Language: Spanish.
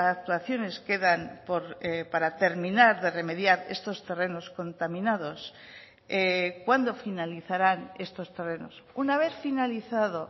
actuaciones quedan para terminar de remediar estos terrenos contaminados cuándo finalizarán estos terrenos una vez finalizado